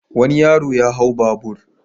Wani yaro ya hau babur.